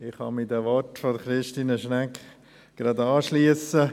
Ich kann mich den Worten von Christine Schnegg anschliessen.